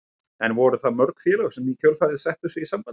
En voru það mörg félög sem í kjölfarið settu sig í samband við hann?